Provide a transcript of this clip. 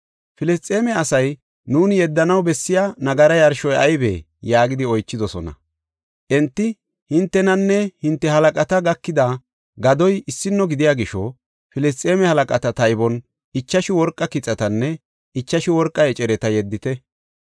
Filisxeeme asay, “Nuuni yeddanaw bessiya nagara yarshoy aybee?” yaagidi oychidosona. Enti, “Hintenanne hinte halaqata gakida gadoy issino gidiya gisho, Filisxeeme halaqata taybon ichashu worqa kixatanne ichashu worqa ecereta yeddite.